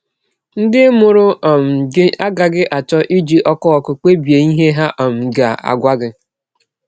Ndị mụrụ um gị agaghị achọ iji ọkụ ọkụ kpebie ihe ha um ga - agwa gị.